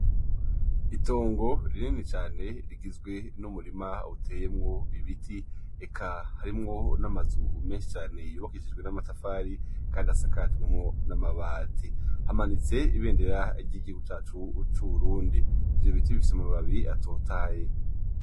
Itongo rinini cane rigizwe n'umurima uteyemwo ibiti eka harimwo n'amazu menshi cane yubakishijwe n'amatafari kandi asakajwe n'amabati, hamanitsemwo Ibendera ry'igihugu cacu c'Uburundi ico giti gifise amababi atotahaye .